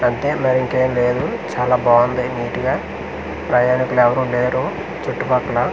అంటే మరింకేం లేదు చాలా బాంది నీటిగా ప్రయాణికులు ఎవరు లేరు చుట్టూ పక్కల.